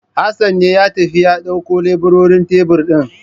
Hassan ya tafi ya ɗaukowa leburorin tebir ɗin.